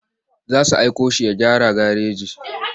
Za su aiko shi ya gyara gareji.